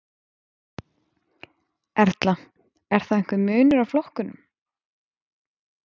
Erla: Er þá einhver munur á flokkum?